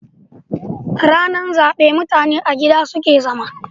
Rana zabe mutane a gida suke zama.